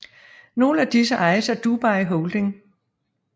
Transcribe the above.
Nogle af disse ejes af Dubai Holding